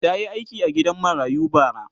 ta Yi aiki a gidan marayu bara